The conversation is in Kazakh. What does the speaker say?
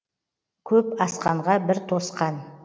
көп асқанға бір тосқан